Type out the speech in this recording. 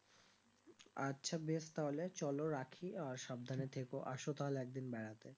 আচ্ছা বেশ তাহলে চলো রাখি আর সাবধানে থেকো আসো তাহলে একদিন বেড়াতে